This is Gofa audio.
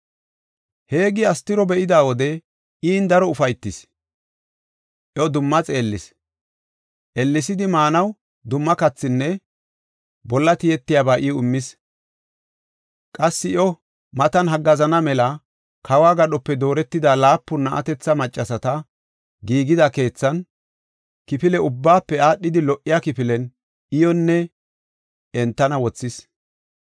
Heegi Astiro be7ida wode in daro ufaytis; iyo dumma xeellis. Ellesidi maanaw dumma kathinne bolla tiyetiyaba iw immis. Qassi iyo matan haggaazana mela kawo gadhope dooretida laapun na7atethi, maccasata giigida keethan, kifile ubbaafe aadhidi lo77iya kifilen iyonne entana wothis.